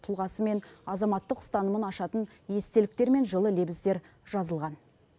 тұлғасы мен азаматтық ұстанымын ашатын естеліктер мен жылы лебіздер жазылған